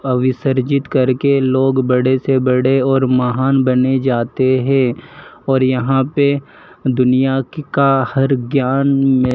अभी सरजीत करके लोग बड़े से बड़े और महान बने जाते हैं और यहां पे दुनिया का का हर ज्ञान में--